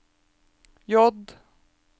J